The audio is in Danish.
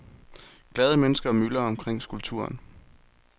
Glade mennesker myldrer omkring skulpturen.